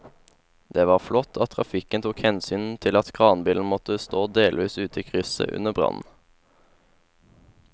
Det var flott at trafikken tok hensyn til at kranbilen måtte stå delvis ute i krysset under brannen.